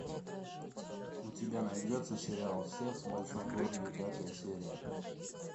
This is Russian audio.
у тебя найдется сериал секс в большом городе пятая серия